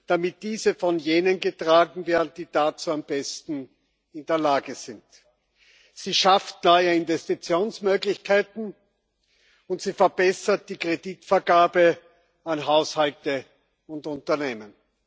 damit diese von jenen getragen werden, die dazu am besten in der Lage sind. Sie schafft neue Investitionsmöglichkeiten, und sie verbessert die Kreditvergabe an Haushalte und Unternehmen.